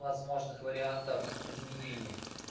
возможных вариантов изменения